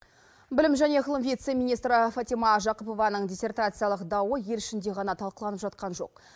білім және ғылым вице министрі фатима жақыпованың диссертациялық дауы ел ішінде ғана талқыланып жатқан жоқ